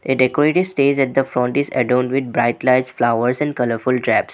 A decorative stage at the front is adore with bright lights flowers and colourful drapes.